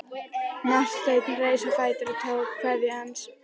Marteinn reis á fætur og tók kveðju hans.